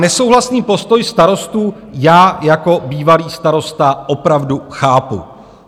Nesouhlasný postoj starostů já jako bývalý starosta opravdu chápu.